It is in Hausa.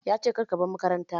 Ya ce "Kar ka bar makaranta"!